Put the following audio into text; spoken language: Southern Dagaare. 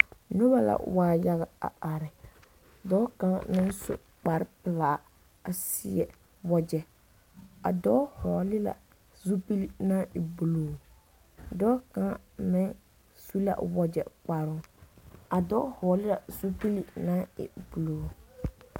Nobɔ la waa yaga a are dɔɔ kaŋa naŋ su kparepelaa a seɛ wagyɛ a dɔɔ vɔgle la zupile naŋ e bluu dɔɔ kaŋa meŋ su la o wagyɛ kparoo a dɔɔ vɔgle la zupil naŋ e bluu.